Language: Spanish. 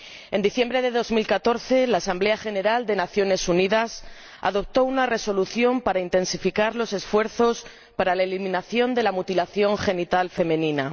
En diciembre de 2014 la Asamblea General de las Naciones Unidas adoptó una Resolución para intensificar los esfuerzos para la eliminación de la mutilación genital femenina.